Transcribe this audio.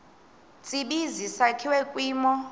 tsibizi sakhiwa kwimo